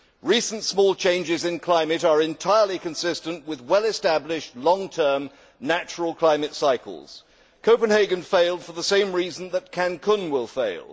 Recent, minor climate changes are entirely consistent with well established, long term natural climate cycles. Copenhagen failed for the same reason that Cancún will fail.